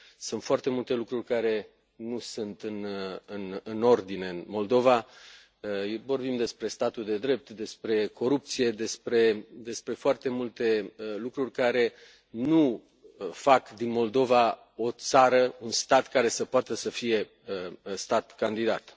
Sunt foarte multe lucruri care nu sunt în ordine în Moldova vorbim despre statul de drept, despre corupție, despre foarte multe lucruri care nu fac din Moldova un stat care să poată să fie stat candidat.